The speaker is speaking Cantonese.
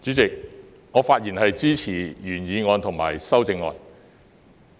主席，我發言支持原議案及修正案。